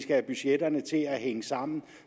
have budgettet til at hænge sammen